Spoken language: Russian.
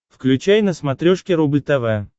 включай на смотрешке рубль тв